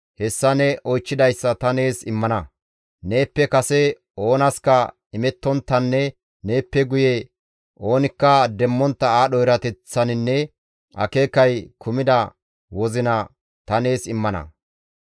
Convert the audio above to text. hessa ne oychchidayssa ta nees immana; neeppe kase oonaska imettonttanne neeppe guye oonikka demmontta aadho erateththaninne akeekay kumida wozina ta nees immana.